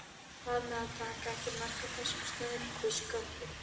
Bað mig að taka ekki mark á þessum stríðnisgoggi.